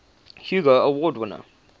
hugo award winner